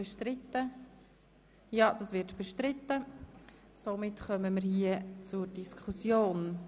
Dieses wird bestritten, also führen wir die Diskussion.